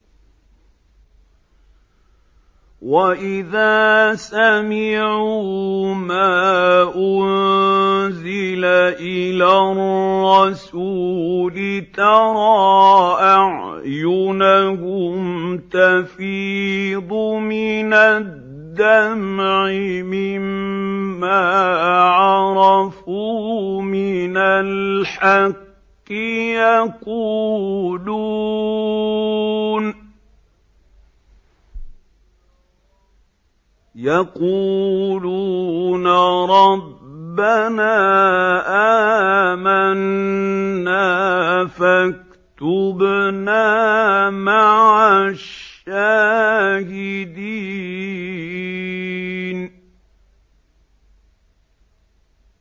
وَإِذَا سَمِعُوا مَا أُنزِلَ إِلَى الرَّسُولِ تَرَىٰ أَعْيُنَهُمْ تَفِيضُ مِنَ الدَّمْعِ مِمَّا عَرَفُوا مِنَ الْحَقِّ ۖ يَقُولُونَ رَبَّنَا آمَنَّا فَاكْتُبْنَا مَعَ الشَّاهِدِينَ